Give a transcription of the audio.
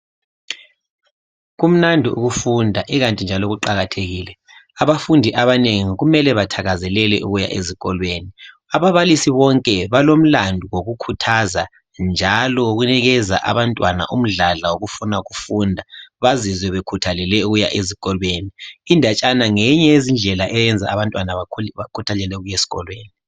Kumnandi ukufunda ikanti njalo kuqakathekile abafundi abanengi kumele bethakazelele ukuya ezikolweni ababalisi bonke balomlandu wokukhuthaza njalo kunikeza abantwana umdladla wokufuna ukufunda bazizwe bekhuthalele ukuya ezikolweni indatshana ngenye yezindlela eyenza abantwana bekhuthathele ukuya ezikolweni